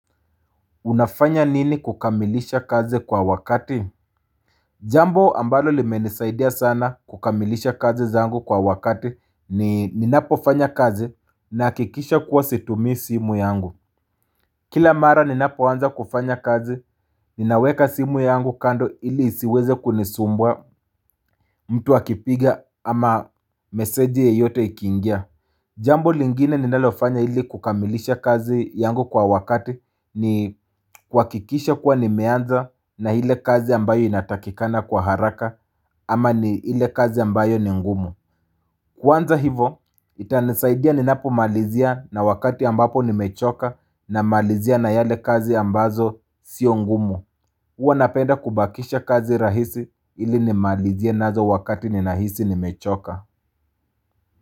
Unafanya nini kukamilisha kazi kwa wakati Jambo ambalo limenisaidia sana kukamilisha kazi zangu kwa wakati ni ninapo fanya kazi Nahakikisha kuwa situmii simu yangu Kila mara ninapoanza kufanya kazi ninaweka simu yangu kando ili isiweze kunisumbua mtu akipiga ama meseji yeyote ikiingia Jambo lingine ninalofanya ili kukamilisha kazi yangu kwa wakati ni kuhakikisha kuwa nimeanza na ile kazi ambayo inatakikana kwa haraka ama ni ile kazi ambayo ni ngumu Kwanza hivo itanisaidia ninapo malizia na wakati ambapo nimechoka na malizia na zile kazi ambazo sio ngumu huwa napenda kubakisha kazi rahisi ili nimalizie na wakati ninahisi ni mechoka.